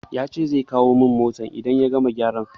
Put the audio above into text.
Ya ce zai kawo min motar in ya gama gyaran.